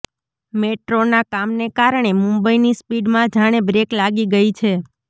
મેટ્રોના કામને કારણે મુંબઈની સ્પીડમાં જાણે બ્રેક લાગી ગઇ છે